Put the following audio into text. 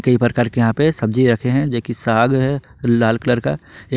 कई प्रकार के यहां पे सब्जी रखे हैं जे कि साग है लाल कलर का एक--